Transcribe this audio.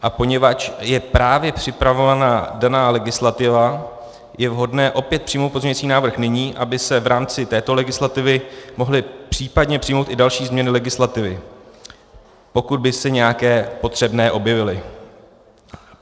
A poněvadž je právě připravována daná legislativa, je vhodné opět přijmout pozměňující návrh nyní, aby se v rámci této legislativy mohly případně přijmout i další změny legislativy, pokud by se nějaké potřebné objevily.